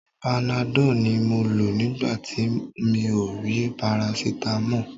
Panadọ́ọ̀ ni mo lò nígbà tí mi ò rí parasitamọ́ọ̀.